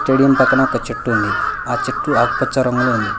Stadium పక్కన ఒక చెట్టు ఉంది ఆ చెట్టు ఆకుపచ్చ రంగులో ఉంది.